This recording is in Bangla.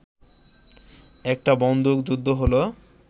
একটা বন্দুকযুদ্ধ হলো